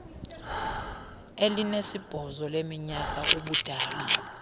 elinesibhozo leminyaka ubudala